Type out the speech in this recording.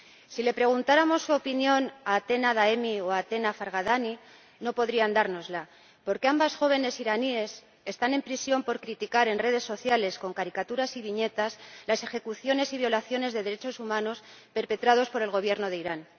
Si le preguntáramos su opinión a Atena Daemi o a Atena Farghadani, no podrían dárnosla, porque ambas jóvenes iraníes están en prisión por criticar en redes sociales, con caricaturas y viñetas, las ejecuciones y violaciones de derechos humanos perpetradas por el Gobierno de Irán.